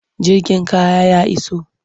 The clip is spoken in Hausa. Jirgin kaya ya iso.